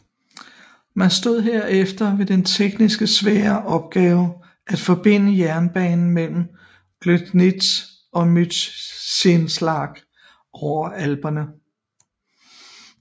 Man stod herefter med den teknisk svære opgave at forbinde jernbanen mellem Gloggnitz og Mürzzuschlag over alperne